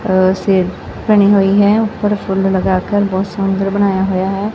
ਆ ਬਣੀ ਹੋਈ ਹੈ ਉਪਰ ਫੁੱਲ ਲਗਾਕਰ ਬਹੁਤ ਸੁੰਦਰ ਬਣਾਯਾ ਹੋਇਆ ਹੈ।